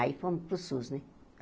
Aí fomos para o Sus, né?